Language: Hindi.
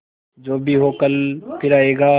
जो भी हो कल फिर आएगा